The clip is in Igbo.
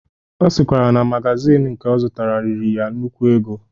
Ọ sịkwara na magazin nke ọ zụtara riri ya nnukwu ego.